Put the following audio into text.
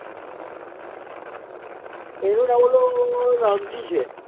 એનું નામ ઓલો રામજી છે.